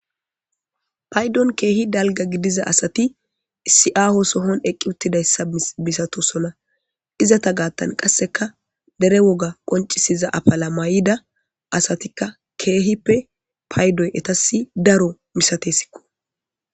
paydon keehi dalga gidiza asati isi7aaho sohon eqqi uttidayssa misatosona izata gaattan qasseka dere woga qoncisiza apala may7ida asatikka keehippe paydoy etasi daro misatesikko